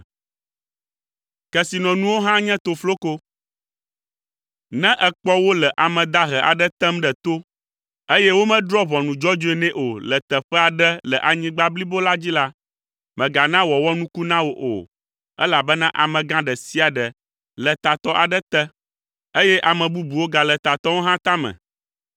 Ne èkpɔ wole ame dahe aɖe tem ɖe to eye womedrɔ̃ ʋɔnu dzɔdzɔe nɛ o le teƒe aɖe le anyigba blibo la dzi la, mègana wòawɔ nuku na wò o elabena amegã ɖe sia ɖe le tatɔ aɖe te eye ame bubuwo gale tatɔawo hã tame.